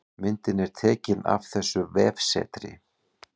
Myndin er tekin af þessu vefsetri